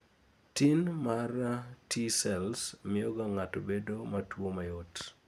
tin mar T cells miyoga ng'ato bedo matuwo mayot